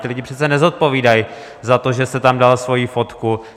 Ti lidé přece nezodpovídají za to, že jste tam dal svoji fotku.